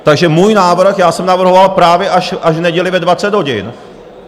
Takže můj návrh, já jsem navrhoval právě až v neděli ve 20 hodin.